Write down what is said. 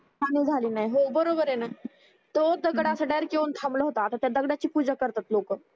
तो दगड डायरेक्ट थांबला होता असा आता त्या दगडाची पूजा करतात लोकं